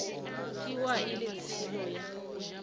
tšewa e le tshelo ya